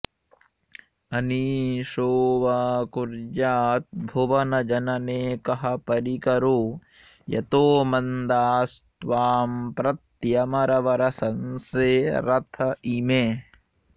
अनीशो वा कुर्याद्भुवनजनने कः परिकरो यतो मन्दास्त्वाम्प्रत्यमरवर संशेरत इमे